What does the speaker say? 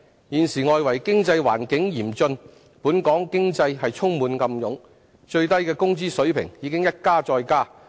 現時外圍經濟環境嚴峻，本港經濟充滿暗湧，最低工資水平已一加再加。